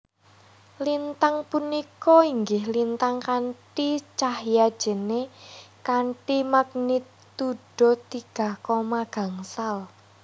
Lintang punika inggih lintang kanthi cahya jene kanthi magnitudo tiga koma gangsal